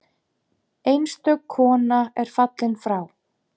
Einstök kona er fallin frá.